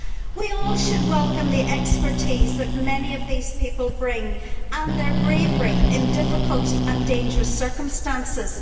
We all should welcome the expertise that many of these people bring and their bravery in difficult and dangerous circumstances.